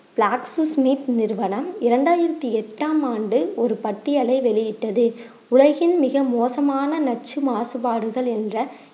நிறுவனம் இரண்டாயிரத்தி எட்டாம் ஆண்டு ஒரு பட்டியலை வெளியிட்டது உலகின் மிக மோசமான நச்சு மாசுபாடுகள் என்ற